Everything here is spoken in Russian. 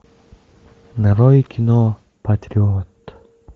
нарой кино патриот